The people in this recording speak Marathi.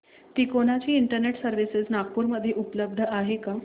तिकोना ची इंटरनेट सर्व्हिस नागपूर मध्ये उपलब्ध आहे का